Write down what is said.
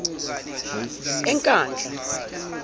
enkandla